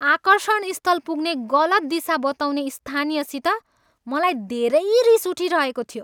आकर्षण स्थल पुग्ने गलत दिशा बताउने स्थानीयसित मलाई धेरै रिस उठिरहेको थियो।